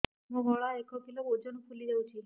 ମୋ ଗଳା ଏକ କିଲୋ ଓଜନ ଫୁଲି ଯାଉଛି